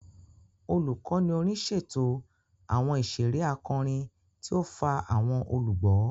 Olukọni orin ṣeto awọn iṣere akọrin tí o fa awọn olugbo.